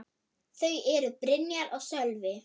Þau eru: Brynja og Sölvi.